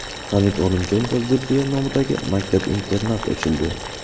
Hamid Olimjon va Zulfiya nomidagi maktab-internat ochildi.